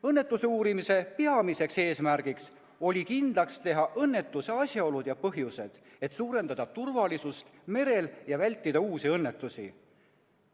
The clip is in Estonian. Õnnetuse uurimise peamiseks eesmärgiks oli kindlaks teha õnnetuse asjaolud ja põhjused, et suurendada turvalisust merel ja vältida uusi õnnetusi.